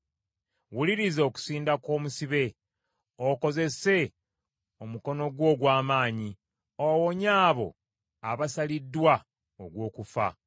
Wuliriza okusinda kw’omusibe; okozese omukono gwo ogw’amaanyi owonye abo abasaliddwa ogw’okufa.